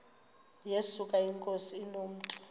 yesuka inkosi inomntu